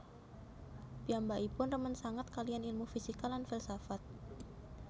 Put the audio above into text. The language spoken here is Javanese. Piyambakipun remen sanget kaliyan ilmu fisika lan filsafat